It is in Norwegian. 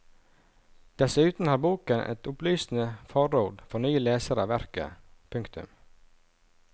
Dessuten har boken et opplysende forord for nye lesere av verket. punktum